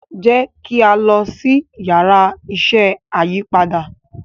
jẹ ki a lọ si Yàrá iṣẹ́ ayípadà